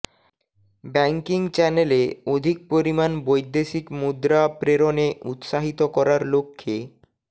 banking চ্যানেলে অধিক পরিমাণ বৈদেশিক মুদ্রা প্রেরণে উৎসাহিত করার লক্ষ্যে